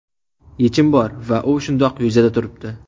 Yechim bor va u shundoq yuzada turibdi.